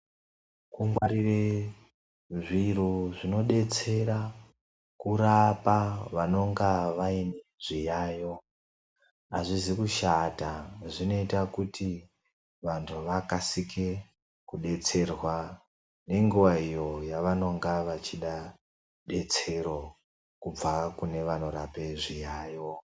Kungwarire zviro zvinodetsera kurapa vanonga vayine zviyayo, azvizi kushata zvinoita kuti vantu vakasike kudetserwa nenguwa iyo yavanonga vachida rudetsero kubva kune vanorape zviyayo.